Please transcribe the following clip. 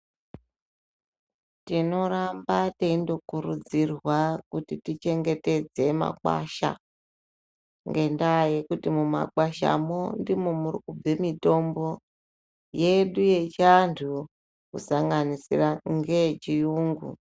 Tinoramba teindokurudzirwa kuti tichengetedze makwasha ngendaa yekuti mumakwashamo ndimo muri kubve mitombo yedu yechianthu kusanganisira ngeyechiyungu.